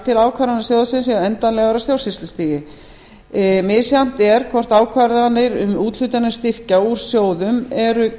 til að ákvarðanir sjóðsins séu endanlegar á stjórnsýslustigi misjafnt er hvort ákvarðanir um úthlutanir styrkja úr sjóðum eru